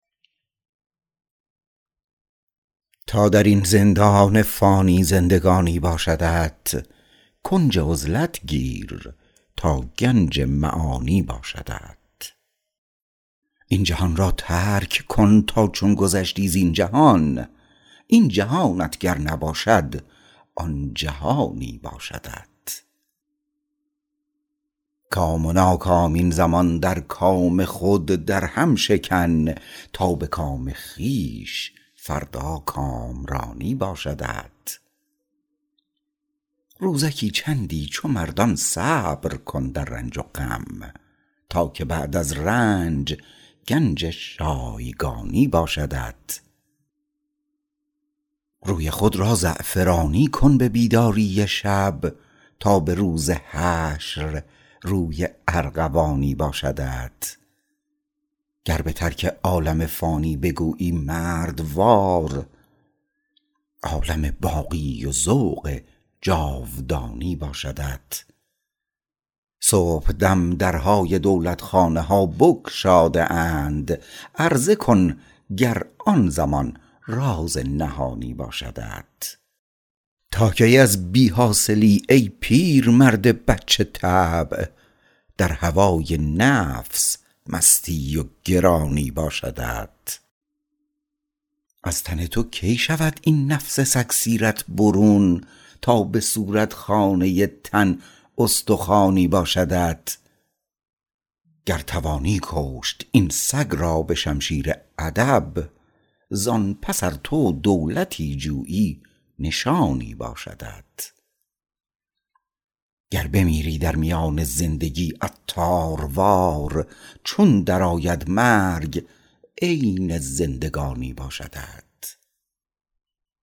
تا درین زندان فانی زندگانی باشدت کنج عزلت گیر تا گنج معانی باشدت این جهان را ترک کن تا چون گذشتی زین جهان این جهانت گر نباشد آن جهانی باشدت کام و ناکام این زمان در کام خود درهم شکن تا به کام خویش فردا کامرانی باشدت روزکی چندی چو مردان صبر کن در رنج و غم تا که بعداز رنج گنج شایگانی باشدت روی خود را زعفرانی کن به بیداری شب تا به روز حشر روی ارغوانی باشدت گر به ترک عالم فانی بگویی مردوار عالم باقی و ذوق جاودانی باشدت صبحدم درهای دولتخانه ها بگشاده اند عرضه کن گر آن زمان راز نهانی باشدت تا کی از بی حاصلی ای پیرمرد بچه طبع در هوای نفس مستی و گرانی باشدت از تن تو کی شود این نفس سگ سیرت برون تا به صورت خانه تن استخوانی باشدت گر توانی کشت این سگ را به شمشیر ادب زان پس ار تو دولتی جویی نشانی باشدت گر بمیری در میان زندگی عطاروار چون درآید مرگ عین زندگانی باشدت